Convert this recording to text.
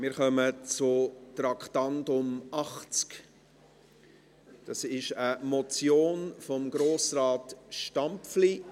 – Wir kommen zum Traktandum 80, einer Motion von Grossrat Stampfli: